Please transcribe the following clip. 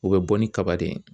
U bɛ bɔ ni kaba de ye.